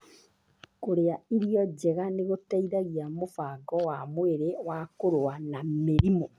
Kũrĩa irio njega nĩ gũteithagia mũbango wa mwĩrĩ wa kũrũa na mĩrimũ.